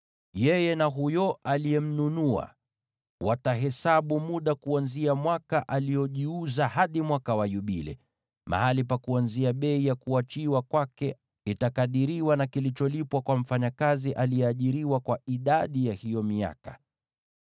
Yeye na huyo aliyemnunua watahesabu muda kuanzia mwaka aliojiuza hadi Mwaka wa Yubile. Mahali pa kuanzia bei ya kuachiwa kwake itakadiriwa kwa ujira unaolipwa mfanyakazi aliyeajiriwa kwa idadi ya hiyo miaka.